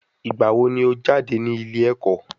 Ìgbà wo ni o jáde nílé ẹ̀kọ́?